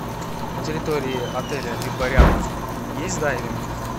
на территории отеля либо рядом есть дайвинг